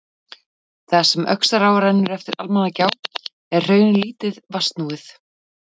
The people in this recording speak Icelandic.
Þar sem Öxará rennur eftir Almannagjá er hraunið lítið vatnsnúið.